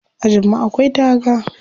Ajin mu akwai taga.